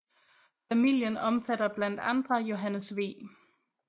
Familien omfatter blandt andre Johannes V